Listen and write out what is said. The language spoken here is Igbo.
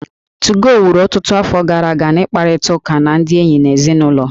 2go wuru ọtụtụ afọ gara aga n'ịkparịta ụka na ndị enyi na ezinụlọ